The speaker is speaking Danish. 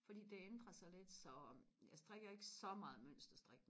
fordi det ændrer sig lidt så jeg strikker ikke så meget mønster strik